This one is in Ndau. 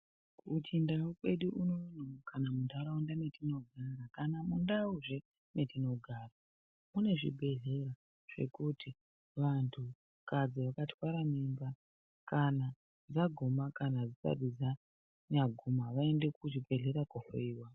Muchindau kwedu unono kana muntaraunda mwatinogara kana mundauzve metinogara mune zvibhedhleya zvekuti vantukadzi vakatwara mimba vaguma kana dzisati dzanyaguma vaende kuchibhedhleya kohloyiwa.